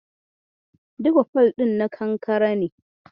Duka fol ɗin na kankare ne.